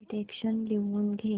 dictation लिहून घे